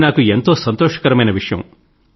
ఇది నాకు ఎంతో సంతోషకరమైన విషయం